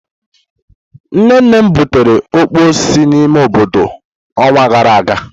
Nne nnem butere okpor si n'ime obodo onwa gara aga.